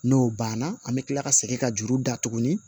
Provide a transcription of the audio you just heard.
N'o banna an bɛ kila ka segin ka juru da tuguni